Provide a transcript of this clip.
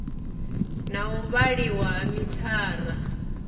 na u vhaliwa ha mithara